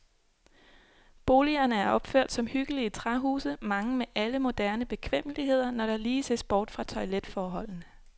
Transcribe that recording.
Boligerne er opført som hyggelige træhuse, mange med alle moderne bekvemmeligheder, når der lige ses bort fra toiletforholdene.